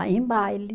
Ah, em baile.